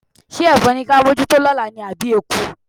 Ṣé ẹ̀fọn ni ká mójútó lọ́la ni àbí eku?